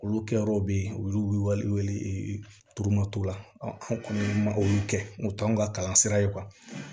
Olu kɛyɔrɔw bɛ yen olu wele tuma la an kɔni ma olu kɛ u t'anw ka kalan sira ye